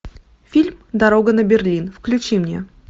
фильм дорога на берлин включи мне